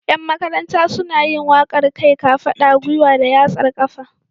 Yan Makaranta suna yin waƙar kai, kafaɗa, gwiwa da yatsar ƙafa.